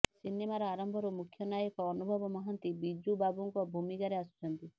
ସିନେମାର ଆରମ୍ଭରୁ ମୁଖ୍ୟ ନାୟକ ଅନୁଭବ ମହାନ୍ତି ବିଜୁ ବାବୁଙ୍କ ଭୂମିକାରେ ଆସୁଛନ୍ତି